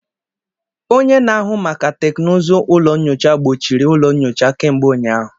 Onye na-ahụ maka teknụzụ ụlọ nyocha kpọchiri ụlọ nyocha kemgbe ụnyaahụ.